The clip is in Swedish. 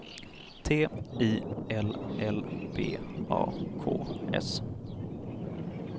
T I L L B A K S